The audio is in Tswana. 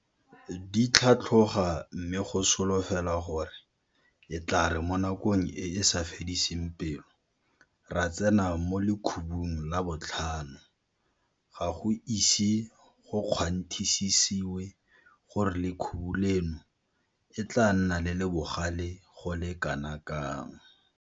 Di tlhatlhoga mme go solofelwa gore e tla re mo nakong e e sa fediseng pelo ra tsena mo lekhubung la botlhano, ga go ise go kgwanthisisewe gore lekhubu leno e tla nna le le bogale go le kanakang.